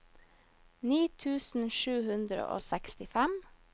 ni tusen sju hundre og sekstifem